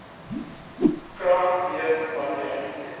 krag wees wanneer